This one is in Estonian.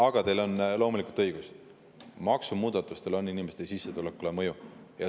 Aga teil on loomulikult õigus: maksumuudatustel on inimeste sissetulekule mõju.